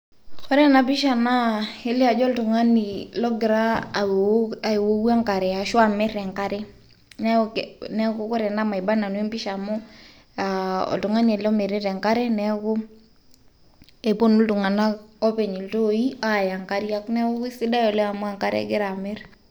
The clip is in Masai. Ore ena pisha kelio ajo oltung'ani ogira awou aiwowu enkare ashu amir enkare. Neek Neeku ore ena maiba nanu amu aa oltung'ani ele omirita enkare neeku eponu iltung'anak openy iltoi aya enkariak, neeku sidai oleng' amu enkare egira amir.